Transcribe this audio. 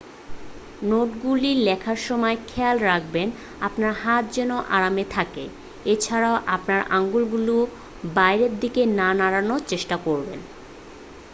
নোটগুলি লেখার সময় খেয়াল রাখবেন আপনার হাত যেন আরামে থাকে এ ছাড়াও আপনার আঙুলগুলি বাইরের দিকে না নাড়ানোর চেষ্টা করবেন